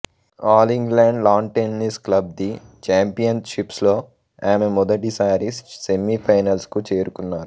all England lawn tennis club the championships లో ఆమె మొదటిసారి సెమీఫైనల్స్ కు చేరుకున్నారు